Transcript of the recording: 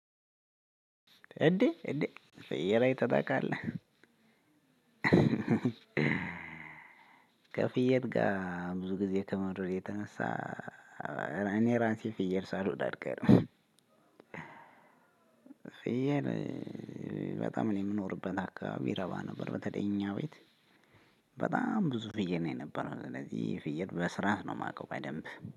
እንዴ እንዴ ፍየል አይተህ ታቃለህ? ከፍየል ጋር ብዙ ጊዜ ከመኖሬ የተነሳ እኔ ራሴ ፍየል ሳልሆን አልቀርም። ፍየል በጣም እኔ የምኖርበት አካባቢ ረባ ነበር። በተለይ እኛ ቤት። በጣም ብዙ ፍየል ነው የነበረው ስለዚህ ፍየል በስራአት ነው የማውቀው በደንብ።